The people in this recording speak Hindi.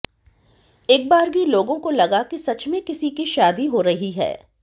एकबारगी लोगों को लगा कि सच में किसी की शादी हो रही है